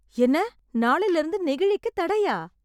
என்ன, நாளையிலிருந்து நெகிழிக்குத் தடையா?